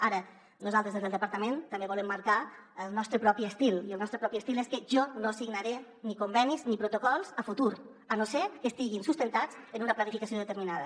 ara nosaltres des del departament també volem marcar el nostre propi estil i el nostre propi estil és que jo no signaré ni con·venis ni protocols a futur a no ser que estiguin sustentats en una planificació deter·minada